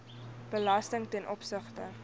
belasting ten opsigte